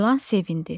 İlan sevindi.